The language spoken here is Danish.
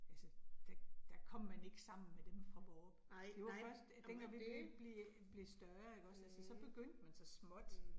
Altså der der kom man ikke sammen med dem fra Vorup. Det var først, dengang vi blev blev blev større ikke også, altså så begyndte man så småt